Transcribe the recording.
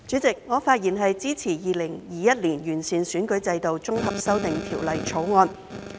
主席，我發言支持《2021年完善選舉制度條例草案》。